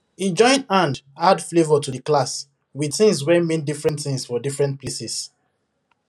he join hand add flavour to the class with things wey mean different things for diferent places